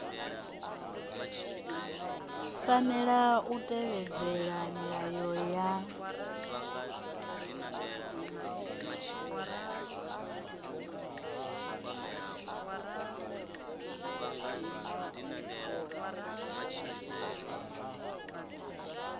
fanela u tevhedzela milayo ya